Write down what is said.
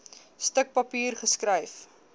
stuk papier geskryf